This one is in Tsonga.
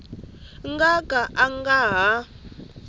nga ka a nga ha